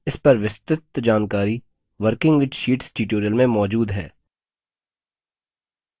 इस पर विस्तृत जानकारी working with sheets tutorial में मौजूद है